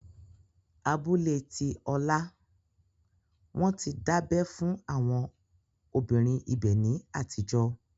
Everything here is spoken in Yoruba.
Abúlé tí Ọlá, Wọ́n ti dábẹ́ fún àwọn obìnrin ibẹ̀ ní àtijọ́